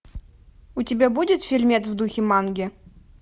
у тебя будет фильмец в духе манги